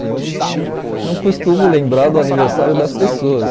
E eu não não costumo lembrar do aniversário das pessoas.